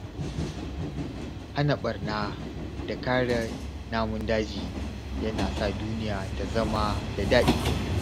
Hana barna da kare namun daji yana sa duniya ta zama da daɗi.